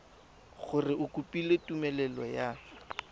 gore o kopile tumelelo ya